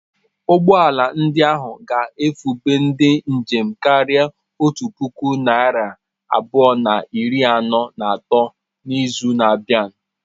Ụgbọ ala ndị ahụ ga-ebufe ndị njem karịrị otu puku narị abụọ na iri anọ na atọ n'izu na-abịa.